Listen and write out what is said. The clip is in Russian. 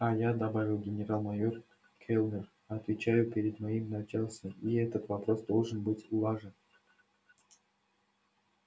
а я добавил генерал-майор кэллнер отвечаю перед моим начальством и этот вопрос должен быть улажен